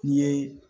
N'i ye